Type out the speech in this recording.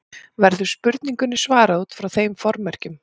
Verður spurningunni svarað út frá þeim formerkjum.